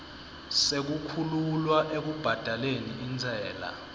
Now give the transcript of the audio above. sekukhululwa ekubhadaleni intsela